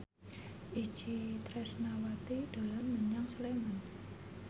Itje Tresnawati dolan menyang Sleman